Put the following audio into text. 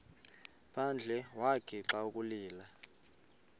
phandle wagixa ukulila